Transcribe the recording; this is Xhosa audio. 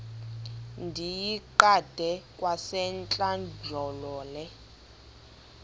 ndiyiqande kwasentlandlolo le